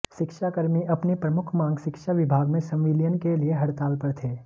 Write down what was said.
शिक्षाकर्मी अपनी प्रमुख मांग शिक्षा विभाग में संविलियन के लिए हड़ताल पर थे